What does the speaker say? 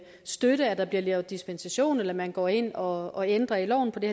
støtte at der bliver givet dispensation eller at man går ind og og ændrer loven fordi